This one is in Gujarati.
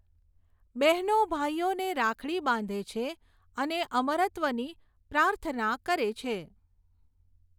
બહેનો ભાઈઓને રાખડી બાંધે છે અને અમરત્વની પ્રાર્થના કરે છે.